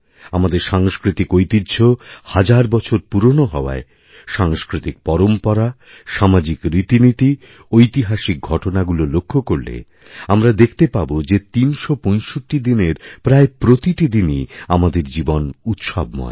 আমাদের সাংস্কৃতিক ঐতিহ্য হাজার বছর পুরনো হওয়ায় সাংস্কৃতিক পরম্পরা সামাজিকরীতিনীতি ঐতিহাসিক ঘটনাগুলো লক্ষ্য করলে আমরা দেখতে পাব যে ৩৬৫ দিনের প্রায়প্রতিটি দিনই আমাদের জীবন উৎসবময়